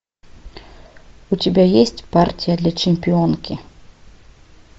у тебя есть партия для чемпионки